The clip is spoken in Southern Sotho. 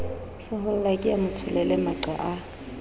sehollake a motsholele maqa a